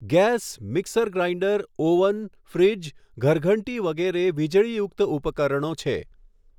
gas, mixer grinder, oven, fridge, ઘરઘંટી વગેરે વીજળીયુક્ત ઉપકરણો છે